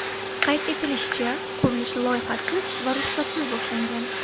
Qayd etilishicha, qurilish loyihasiz va ruxsatsiz boshlangan.